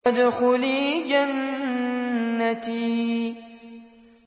وَادْخُلِي جَنَّتِي